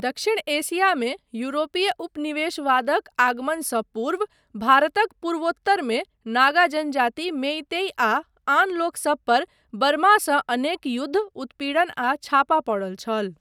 दक्षिण एशियामे यूरोपीय उपनिवेशवादक आगमनसँ पूर्व, भारतक पूर्वोत्तरमे नागा जनजाति, मेईतई आ आन लोकसबपर बर्मासँ अनेक युद्ध, उत्पीड़न आ छापा पड़ल छल।